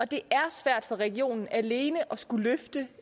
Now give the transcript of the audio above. det er svært for regionen alene at skulle løfte